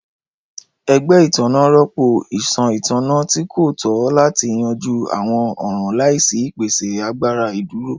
Ẹgbẹ itanna rọpo iṣan itanna ti ko tọ lati yanju awọn ọran laisi ipese agbara iduro.